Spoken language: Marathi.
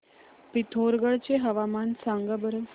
पिथोरगढ चे हवामान सांगा बरं